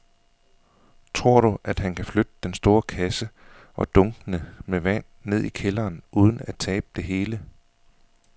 Tror du, at han kan flytte den store kasse og dunkene med vand ned i kælderen uden at tabe det hele?